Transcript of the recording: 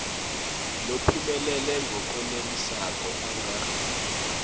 lophumelele ngalokwenelisako anga